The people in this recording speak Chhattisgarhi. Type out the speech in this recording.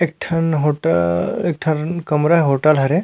एक ठन होटल एक ठन कमरा होटल हरे--